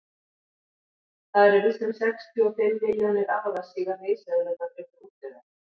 það eru víst um sextíu og fimm milljónir ára síðan risaeðlurnar urðu útdauðar